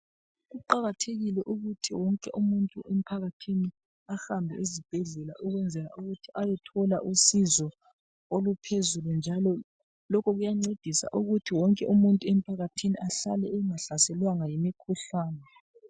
Kuqakathekile ukuthi wonke umuntu emphakathini, ahambe esibhedlela ukwenzela ukuthi ayethola usizo oluphezulu njalo lokho kuyancedisa ukuthi wonke umuntu emphakathini ahlale engahlaselwanga yimikhuhlane.